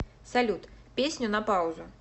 салют песню на паузу